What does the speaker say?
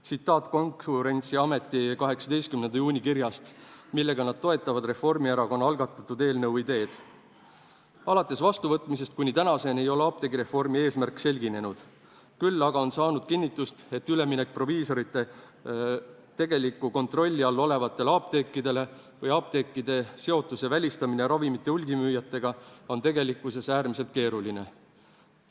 Tsiteerin Konkurentsiameti 18. juuni kirja, millega nad toetavad Reformierakonna algatatud eelnõu ideed: "Alates vastuvõtmisest kuni tänaseni ei ole apteegireformi eesmärk selginenud, küll aga on saanud kinnitust, et üleminek proviisorite tegeliku kontrolli all olevatele apteekidele ning apteekide seotuse välistamine ravimite hulgimüüjatega on tegelikkuses äärmiselt keeruline.